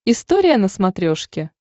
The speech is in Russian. история на смотрешке